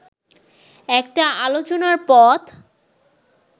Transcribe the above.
একটা আলোচনার পথ